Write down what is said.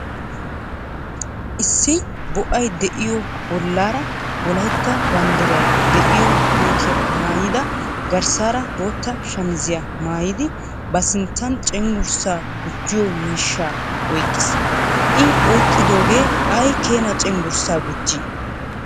Issi bo"ay de"iyoo bollaara wolayitta banddiray de"iyo kootiyaa maayidi garssaara bootta shamiziyaa maayidi ba sinttan cenggurssaa gujjiyo miishshaa oyqqis. I oyqqidoogee ay keenaa cenggurssaa gujjii?